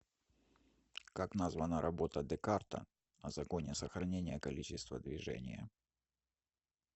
как названа работа декарта о законе сохранения количества движения